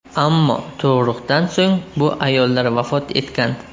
Ammo tug‘ruqdan so‘ng bu ayollar vafot etgan.